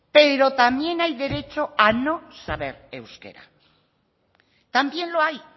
pero también hay derecho a no saber euskera también lo hay